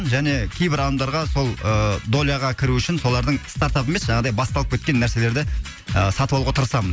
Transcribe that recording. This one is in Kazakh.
және кейбір адамдарға сол ы доляға кіру үшін солардың жаңағыдай басталып кеткен нәрселерді сатып алуға тырысамын